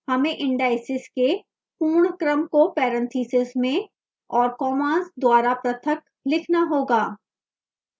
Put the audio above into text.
हमें indices के पूर्ण क्रम को parentheses में और commas द्वारा पृथक लिखना होगा